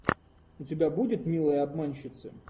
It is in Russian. у тебя будет милые обманщицы